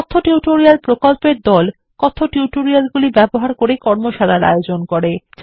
কথ্য টিউটোরিয়াল প্রকল্পর দল কথ্য টিউটোরিয়ালগুলি ব্যবহার করে কর্মশালার আয়োজন করে